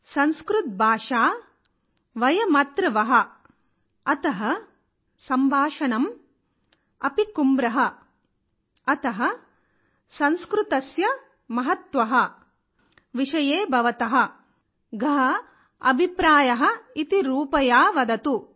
సంస్కృత్ భాషా వయ్ మత్ర్ వహ అత సంభాషణమ్ అపి కుమ్ర అత సంస్కృతస్య మహత్వ విషయే భవత గహ అభిప్రాయ ఇతి రూపయావదతు